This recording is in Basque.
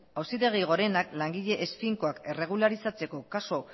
auzitegi gorenak langile ez finkoak erregularizatzeko kasu